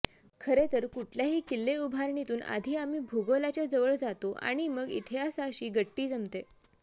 खरेतर कुठल्याही किल्ले उभारणीतून आधी आम्ही भूगोलाच्या जवळ जातो आणि मग इतिहासाशी गट्टी जमते